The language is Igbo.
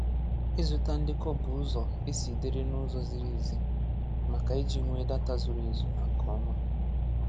Ịzụta ndekọ bụ ụzọ e si dịrị n’ụzọ ziri ezi, maka iji nwee data zuru ezu na nke ọma.